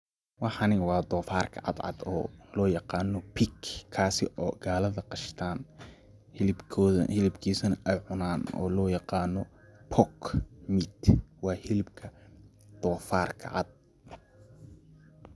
Waxani waa doofarka cadcad oo loo yaqaano pig ,kaasi oo gaalada qashtaan ,hilibkoodana, hilibkiisa na ay cunaan oo loo yaqaano pork meat ,waa hilibka doofarka cad.